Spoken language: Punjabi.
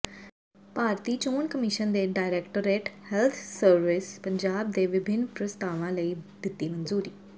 ਭਾਰਤੀ ਚੋਣ ਕਮਿਸ਼ਨ ਨੇ ਡਾਇਰੈਕਟੋਰੇਟ ਹੈਲਥ ਸਰਵਿਸਿਜ਼ ਪੰਜਾਬ ਦੇ ਵਿਭਿੰਨ ਪ੍ਰਸਤਾਵਾਂ ਲਈ ਦਿੱਤੀ ਮਨਜ਼ੂਰੀ